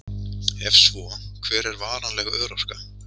Ef svo, hver er varanleg örorka?